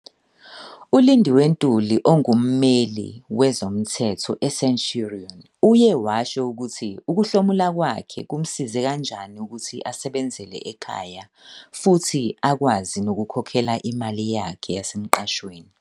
ULindiwe Ntuli, ongummeli wezomthetho e-Centurion, uye washo ukuthi ukuhlomula kwakhe kumsize kanjani ukuthi asebenzele ekhaya futhi akwazi nokukhokha imali yakhe yasemqashweni.